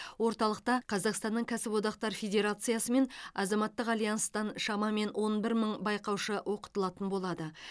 орталықта қазақстаның кәсіподақтар федерациясы мен азаматтық альянстан шамамен он бір мың байқаушы оқытылатын болады